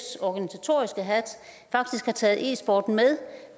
faktisk har taget e sporten med